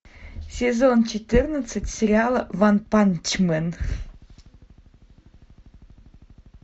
сезон четырнадцать сериала ванпанчмен